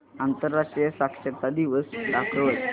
आंतरराष्ट्रीय साक्षरता दिवस दाखवच